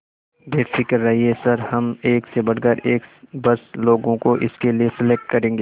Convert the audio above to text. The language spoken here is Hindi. बेफिक्र रहिए सर हम एक से बढ़कर एक बस लोगों को इसके लिए सेलेक्ट करेंगे